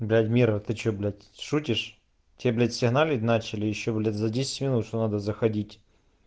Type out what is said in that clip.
блять мира ты что блять шутишь тебе блять сигналить начали ещё блять за десять минут что надо заходить